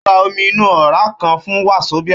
Ó ra omi inú òrá kan fún Wazobia